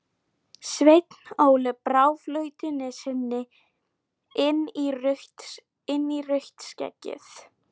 Sveinn Óli brá flautunni sinni inn í rautt skeggið.